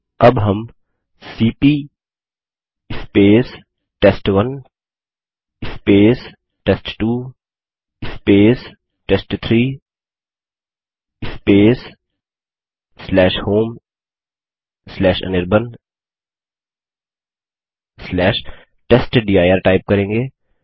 अब हम CP test one test two test three homeanirbantestdir type करेंगे